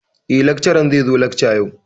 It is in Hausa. Eh, lakcaran zai zo lakca yau.